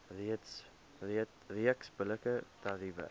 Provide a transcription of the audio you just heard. reeks billike tariewe